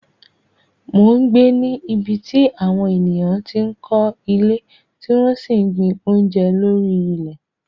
mò ń gbé ní ibi tí àwọn ènìyàn ti ń kọ́ ilé tí wọ́n sì ń gbin oúnjẹ lórí ilẹ̀